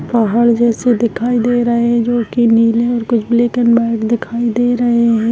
पहाड़ जैसे दिखाई दे रहे है जो की नीले और कुछ ब्लैक एंड व्हाइट दिखाई दे रहे है।